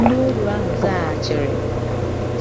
Ndịoru ahụ zaghachiri,